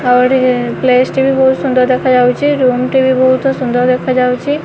ଆଉ ଏଠି ପ୍ଲେସ ଟି ବି ବୋହୁତ ସୁନ୍ଦର ଦେଖାଯାଉଚି ରୁମ୍ ଟି ବି ବୋହୁତ ସୁନ୍ଦର ଦେଖାଯାଉଚି।